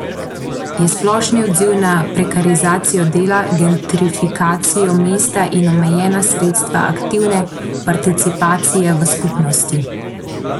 Je splošni odziv na prekarizacijo dela, gentrifikacijo mesta in omejena sredstva aktivne participacije v skupnosti.